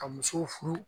Ka musow furu